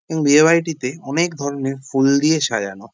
এবং বিয়ে বাড়িটিতে অনেক ধরণের ফুল দিয়ে সাজানো।